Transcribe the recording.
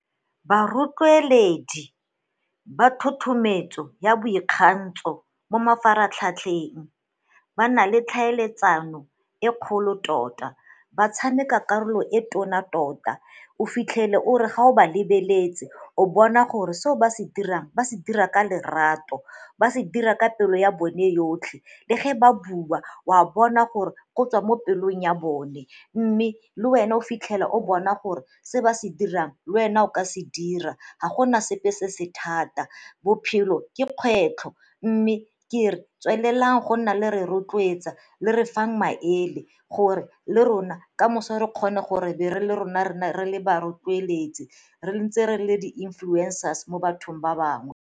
Barotloeledi ba thothometso ya boikgantsho mo mafaratlhatlheng ba na le tlhaeletsano e kgolo tota, ba tshameka karolo e tona tota. O fitlhele o re ga o ba lebeletse o bona gore seo ba se dirang ba se dira ka lerato, ba se dira ka pelo ya bone yotlhe le ge ba bua o a bona gore go tswa mo pelong ya bone mme le wena o fitlhela o bona gore seo ba se dirang le wena o ka se dira ga gona sepe se se thata. Bophelo ke kgwetlho mme ke re tswelelang go nna le re rotloetsa le re fang maele gore le rona ka moso re kgone gore be re le rona re nne re le ba rotloeletsi re ntse re le di-influencers mo bathong ba bangwe.